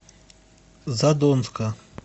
задонска